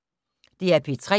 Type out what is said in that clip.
DR P3